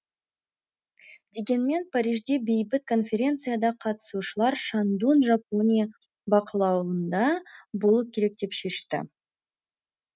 дегенмен парижде бейбіт конференцияда қатысушылар шандун жапония бақылауында болу керек деп шешті